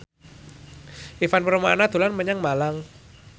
Ivan Permana dolan menyang Malang